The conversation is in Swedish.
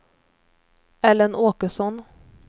Ellen Åkesson